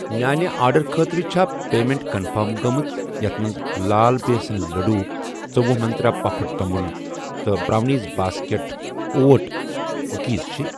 میانہِ آرڈر خٲطرٕ چھا پیمیٚنٹ کنفٔرم گٔمٕژ یتھ مَنٛز لال بیسَن لٔڈو ژوٚوُہ منٛترٛا پَفڈ توٚمُل تہٕ برٛاونیٖز باسکٮ۪ٹ اوٹ کُکیٖز چِھ؟